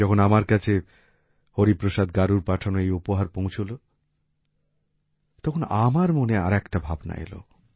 যখন আমার কাছে হরিপ্রসাদ গারুর পাঠানো এই উপহার পৌঁছল তখন আমার মনে আর একটা ভাবনা এল